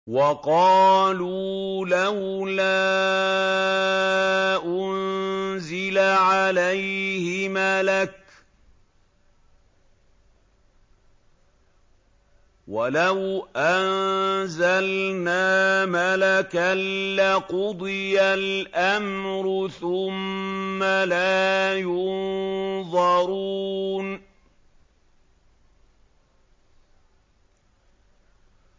وَقَالُوا لَوْلَا أُنزِلَ عَلَيْهِ مَلَكٌ ۖ وَلَوْ أَنزَلْنَا مَلَكًا لَّقُضِيَ الْأَمْرُ ثُمَّ لَا يُنظَرُونَ